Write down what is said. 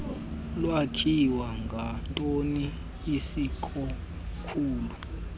lwakhiwe ngantoni isikakhulu